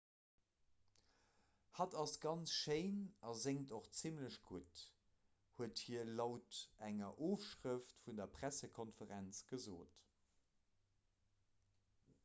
hatt ass ganz schéin a séngt och zimmlech gutt huet hie laut enger ofschrëft vun der pressekonferenz gesot